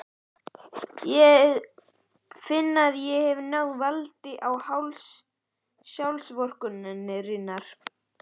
Ég finn að ég hef náð valdi á hálsi sjálfsvorkunnarinnar.